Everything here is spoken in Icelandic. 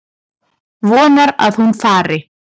Vonar að hún fari.